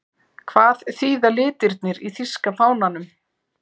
Hvað þýða litirnir í þýska fánanum?